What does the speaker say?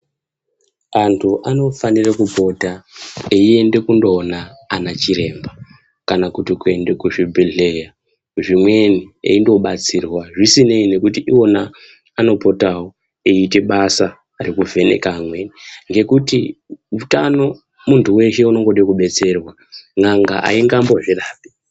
Anthu anofanire kupota einde kundoona anachiremba kana kuti kuende kuzvibhedhleya zvimweni eindobatsirwa zvisinei nekuti iwona anopotawo eitebasa rekuvheneka amweni ngekuti utano munthu weshe unode kudetserwa n'anga aingambozvirapi.